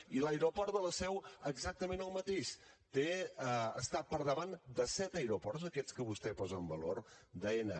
i l’aeroport de la seu exactament el mateix està per davant de set aeroports d’aquests que vostè posa en valor d’aena